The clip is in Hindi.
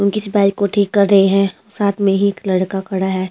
उ किसी बाइक को ठीक कर रहे हैं साथ में ही एक लड़का खड़ा है।